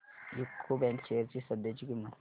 UCO bank shares ची सध्याची किंमत